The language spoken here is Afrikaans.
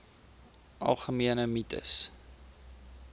algemene mites